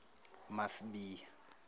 masibiya